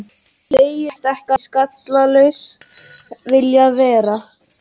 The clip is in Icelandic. Hann segist ekki skallalaus vilja vera.